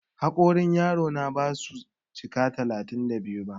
Haƙorin yaro na ba su cika talatin da biyu ba.